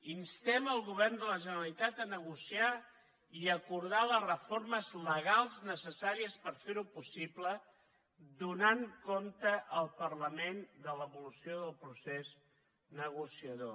instem el govern de la generalitat a negociar i a acordar les reformes legals necessàries per fer ho possible donant compte al parlament de l’evolució del procés negociador